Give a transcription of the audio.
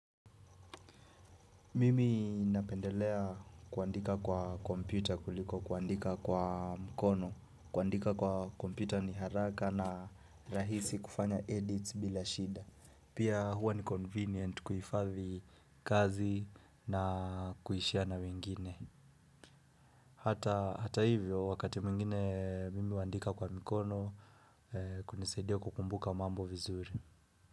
Mimi napendelea kuandika kwa kompyuta kuliko kuandika kwa mkono. Kuandika kwa kompyuta ni haraka na rahisi kufanya edits bila shida. Pia huwa ni convenient kuhifadhi kazi na kuishare na wengine. Hata hivyo wakati mwingine mimi huandika kwa mkono kunisaidia kukumbuka mambo vizuri.